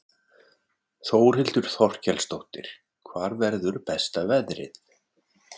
Þórhildur Þorkelsdóttir: Hvar verður besta veðrið?